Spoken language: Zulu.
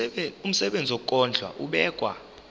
umsebenzi wokondla ubekwa